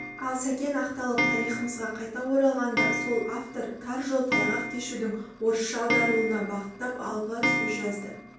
ал сәкен ақталып тарихымызға қайта оралғанда сол автор тар жол тайғақ кешудің орысша аударылуына бағыттап алғы сөз жазды